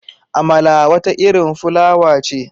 Amala wata irin fulawa ce.